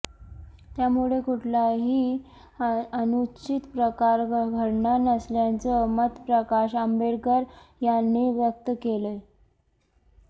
त्यामुळे कुठलाही अनुचित प्रकार घडणार नसल्याचं मत प्रकाश आंबेडकर यांनी व्यक्त केलंय